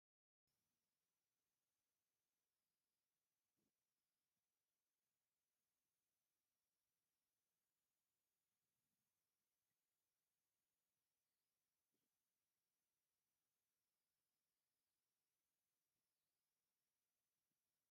እውይ ኣቐራርባ ቡና ደስ ክብል ውሒፅሒፅ ዝብል ጀበና ምድ መደከሪ ዕጣኑ፣ ፈንድሻን ፣ ፍንጃልን ቖፅሊ ተጎዝጊዙ እንሄ እቲ ኸባቢኡ ግን እንታይ እዩ ?